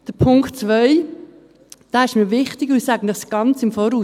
Der Punkt 2 ist mir wichtig, und ich sage es Ihnen im Voraus: